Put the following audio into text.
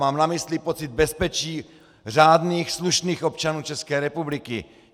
Mám na mysli pocit bezpečí řádných, slušných občanů České republiky!